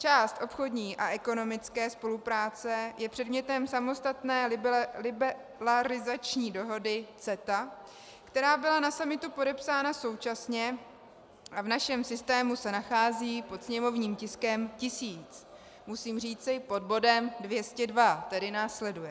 Část obchodní a ekonomické spolupráce je předmětem samostatné liberalizační dohody CETA, která byla na summitu podepsána současně a v našem systému se nachází pod sněmovním tiskem 1000, musím říci pod bodem 202, který následuje.